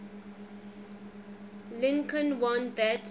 lincoln warned that